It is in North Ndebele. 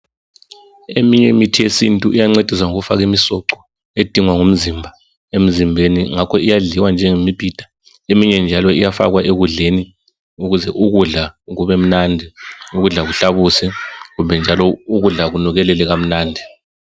Eminye imithi yesintu iyancedisa ngokufaki misoco edingwa ngumzimba emzimbeni. Ngakho iyadliwa njengemibhida, eminye njalo iyafakwa ekudleni ukuze ukudla kubemnandi, ukudla kuhlabuse kumbe njalo ukudla kunukelele kamnandi.